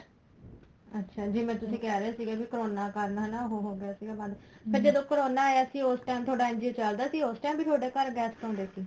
ਅੱਛਾ ਜਿਵੇਂ ਤੁਸੀਂ ਕਹਿ ਰਹੇ ਸੀਗੇ ਕਰੋਨਾ ਕਾਰਨ ਹੈਨਾ ਉਹ ਹੋ ਗਿਆ ਸੀ ਬੰਦ ਫ਼ੇਰ ਜਦੋਂ ਕਰੋਨਾ ਆਇਆ ਸੀ ਉਸ time ਤੁਹਾਡਾ NGO ਚੱਲਦਾ ਸੀ ਉਸ time ਵੀ ਤੁਹਾਡੇ ਘਰ guest ਆਉਦੇ ਸੀ